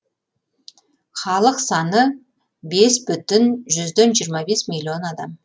халық саны бес бүтін жүзден жиырма бес миллион адам